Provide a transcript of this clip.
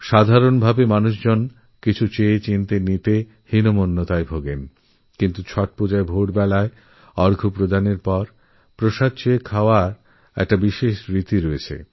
সাধারণভাবে কিছু চেয়ে নেওয়াকেমানুষ হীন বলে মনে করে কিন্তু ছট পূজায় সকালের অ র্ঘ্য শেষ হওয়ার পরে প্রসাদ চেয়ে খাওয়ারএক বিশেষ পরম্পরা আছে